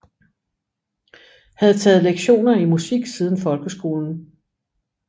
Havde taget lektioner i musik siden folkeskolen